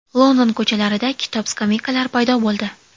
London ko‘chalarida kitob-skameykalar paydo bo‘ldi.